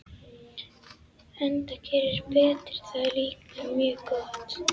Enda gerir Berti það líka mjög gott.